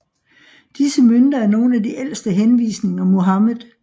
Disse mønter er nogen af de ældste henvisninger Muhammed